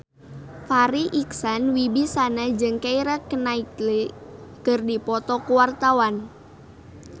Farri Icksan Wibisana jeung Keira Knightley keur dipoto ku wartawan